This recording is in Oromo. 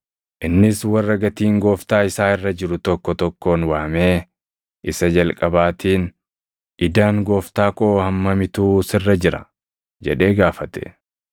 “Innis warra gatiin gooftaa isaa irra jiru tokko tokkoon waamee, isa jalqabaatiin, ‘Idaan gooftaa koo hammamitu sirra jira?’ jedhee gaafate.